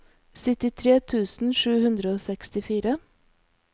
syttitre tusen sju hundre og sekstifire